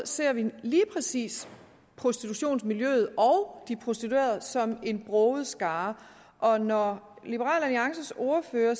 ser vi lige præcis prostitutionsmiljøet og de prostituerede som en broget skare og når liberal alliances ordfører